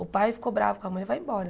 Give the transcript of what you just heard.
O pai ficou bravo com a mãe vai embora.